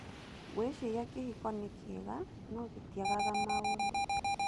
Ngwĩciria kĩhiko nĩ kĩega no gĩtiagaga maũndũ.